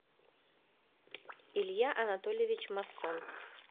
илья анатольевич массон